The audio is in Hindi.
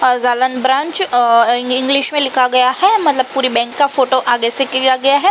अ ज़ालन ब्रांच अ इंग इंग्लिश में लिखा गया हे मतलब पूरी बेंक का फोटो आगे से किया गया है।